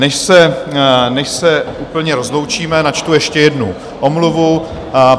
Než se úplně rozloučíme, načtu ještě jednu omluvu.